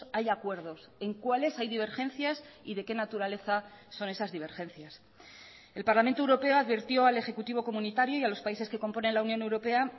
hay acuerdos en cuáles hay divergencias y de qué naturaleza son esas divergencias el parlamento europeo advirtió al ejecutivo comunitario y a los países que componen la unión europea